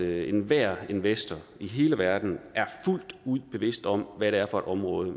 at enhver investor i hele verden er fuldt ud bevidst om hvad det er for et område